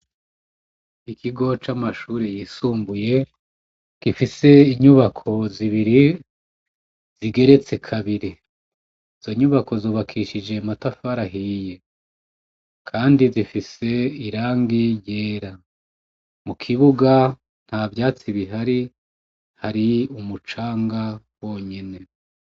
Mu kigo camashure yisumbuye gifise inyubako igeretse kabiri, izonyubako zubakishije amatafari ahiye Kandi zifise irangi ryera, ntavyatsi bihari hari umucanga wonyine.